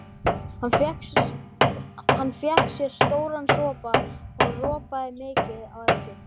Hann fékk sér stóran sopa og ropaði mikið á eftir.